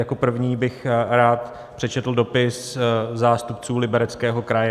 Jako první bych rád přečetl dopis zástupců Libereckého kraje.